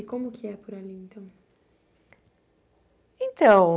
E como que é por ali, então? Então